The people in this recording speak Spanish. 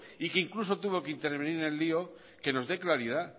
y que incluso tuvo que intervenir en el lío que nos dé claridad